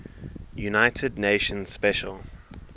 united nations special